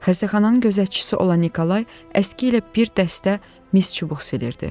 Xəstəxananın gözətçisi olan Nikolay əski ilə bir dəstə mis çubuq silirdi.